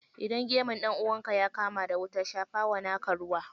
Idan gemun ɗan'uwanka ya kama da wuta, shafawa naka ruwa.